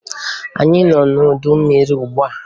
Anyị nọ n'udu mmiri ugbua.